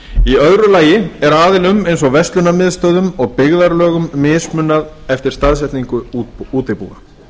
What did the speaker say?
í öðru lagi er aðilum eins og verslunarmiðstöðvum og byggðarlögum mismunað eftir staðsetningu útibúa